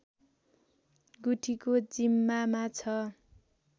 गुठीको जिम्मामा छ